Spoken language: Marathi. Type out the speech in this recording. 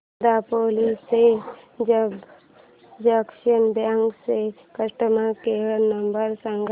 दापोली च्या पंजाब नॅशनल बँक चा कस्टमर केअर नंबर सांग